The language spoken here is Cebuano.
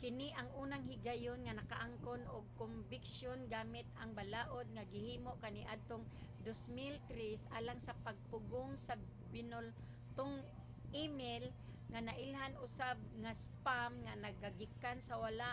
kini ang unang higayon nga nakaangkon og kombiksyon gamit ang balaod nga gihimo kaniadtong 2003 alang sa pagpugong sa binultong email nga nailhan usab nga spam nga nagagikan sa wala